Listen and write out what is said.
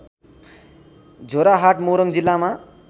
झोराहाट मोरङ जिल्लामा